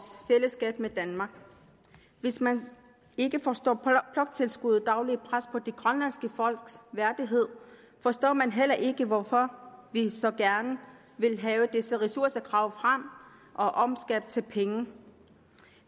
fællesskab med danmark hvis man ikke forstår bloktilskuddets daglige pres på det grønlandske folks værdighed forstår man heller ikke hvorfor vi så gerne vil have disse ressourcer gravet frem og omskabt til penge